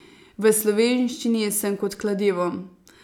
V slovenščini sem kot kladivo.